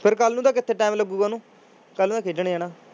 ਫਿਰ ਕੱਲ੍ਹ ਨੂੰ ਤਾਂ ਕਿੱਥੇ time ਲੱਗੇਗਾ ਉਹਨੂੰ ਕੱਲ੍ਹ ਨੂੰ ਮੈਂ ਖੇਡਣ ਜਾਣਾ।